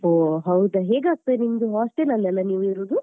ಓಹ್ ಹೌದಾ. ಹೇಗ್ ಆಗ್ತದೆ ನಿಮ್ದು hostel ಅಲ್ಲಲ ನೀವ್ ಇರೋದು?